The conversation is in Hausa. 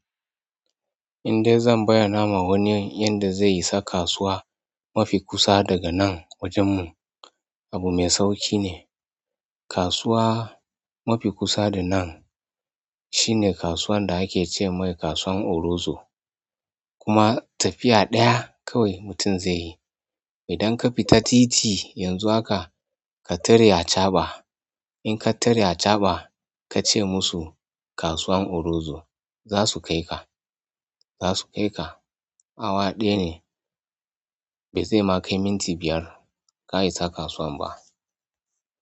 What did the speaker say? Indai zan bayyana ma wani yadda zai isa kasuwa mafi kusa daga nan wajen mu. Abu mai sauƙi ne. Kasuwa mafi kusa da nan shine kasuwan da ake ce mai kasuwan Orozo. Kuma tafiya ɗaya kawai mutum zai yi. Idan ka fita titi yanzu haka ka tare acaɓa in ka tare acaɓa ka ce musu kasuwan Orozo za su kai ka. Zasu kaika. Awa ɗaya ne ba zai ma kai minti biyar ka isa kasuwan ba.